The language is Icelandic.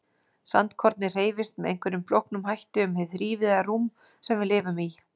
Sandkornið hreyfist með einhverjum flóknum hætti um hið þrívíða rúm sem við lifum í.